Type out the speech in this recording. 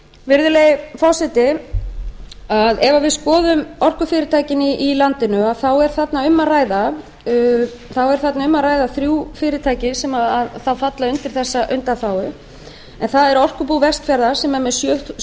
virðulegi forseti ef við skoðum orkufyrirtækin í landinu er þarna um að ræða þrjú fyrirtæki sem þá falla undir þessa undanþágu en að er orkubú vestfjarða sem er er með